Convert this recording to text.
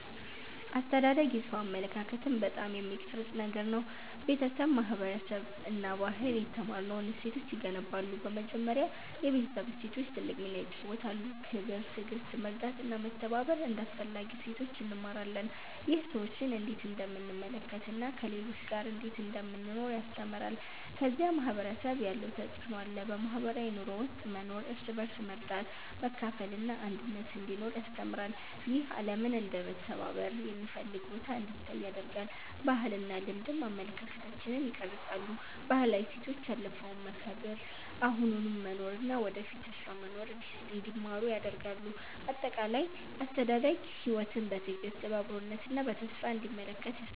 አስተዳደግ የሰው አመለካከትን በጣም የሚቀርጽ ነገር ነው። ቤተሰብ፣ ማህበረሰብ እና ባህል የተማርነውን እሴቶች ይገነባሉ። በመጀመሪያ የቤተሰብ እሴቶች ትልቅ ሚና ይጫወታሉ። ክብር፣ ትዕግሥት፣ መርዳት እና መተባበር እንደ አስፈላጊ እሴቶች እንማራለን። ይህ ሰዎችን እንዴት እንደምንመለከት እና ከሌሎች ጋር እንዴት እንደምንኖር ያስተምራል። ከዚያ ማህበረሰብ ያለው ተፅዕኖ አለ። በማህበራዊ ኑሮ ውስጥ መኖር እርስ በርስ መርዳት፣ መካፈል እና አንድነት እንዲኖር ያስተምራል። ይህ ዓለምን እንደ መተባበር የሚፈልግ ቦታ እንዲታይ ያደርጋል። ባህልና ልማድም አመለካከታችንን ይቀርጻሉ። ባህላዊ እሴቶች ያለፈውን መከብር፣ አሁኑን መኖር እና ወደፊት ተስፋ መኖር እንዲማሩ ያደርጋሉ። አጠቃላይ፣ አስተዳደግ ሕይወትን በትዕግሥት፣ በአክብሮት እና በተስፋ እንዲመለከት ያስተምራል።